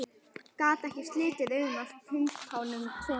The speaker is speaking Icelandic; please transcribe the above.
Gat ekki slitið augun af kumpánunum tveim.